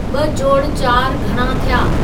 ॿ जोड़ चारि घणा थिया